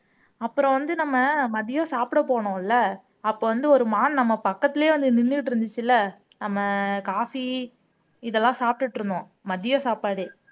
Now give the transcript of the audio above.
அப்புறம் வந்து நம்ம மதியம் சாப்பிடப் போனோம் இல்ல அப்ப வந்து ஒரு மான் நம்ம பக்கத்துலயே வந்து நின்னுட்டு இருந்துச்சுல்ல நம்ம காபி இதெல்லாம் சாப்பிட்டுட்டு இருந்தோம் மதிய சாப்பாடு